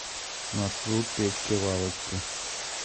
маршрут печки лавочки